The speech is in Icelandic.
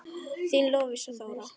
Þín Lovísa Þóra.